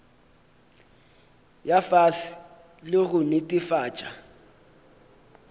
ya fase le go netefatša